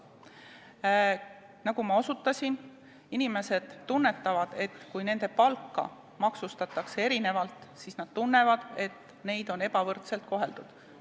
Nagu ma osutasin, inimesed tunnetavad, et kui nende palka maksustatakse erinevalt, siis on neid ebavõrdselt koheldud.